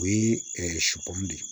O ye de ye